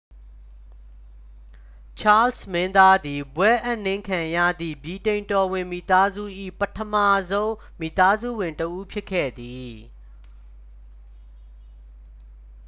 ချားစ်လ် မင်းသားသည် ဘွဲ့အပ်နှင်းခံရသည့် ဗြိတိန်တော်ဝင်မိသားစု၏ ပထမဆုံး မိသားစုဝင်တစ်ဦး ဖြစ်ခဲ့သည်